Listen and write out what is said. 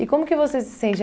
E como que você se sente?